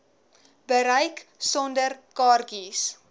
bereik sonder kaartjies